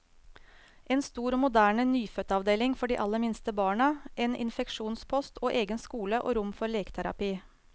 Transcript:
En stor og moderne nyfødtavdeling for de aller minste barna, en egen infeksjonspost, og egen skole og rom for leketerapi.